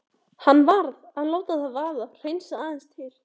Hann varð að láta það vaða, hreinsa aðeins til.